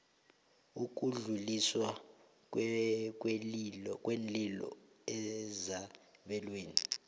ukudluliswa kweenlilo ezabelweni